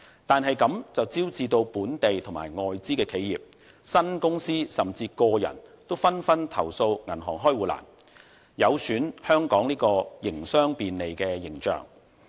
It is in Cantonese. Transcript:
但是，這樣便招致本地及外資企業、新公司，甚至個人都紛紛投訴銀行開戶難，有損香港的營商便利形象。